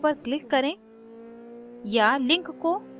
email में दिए link पर click करें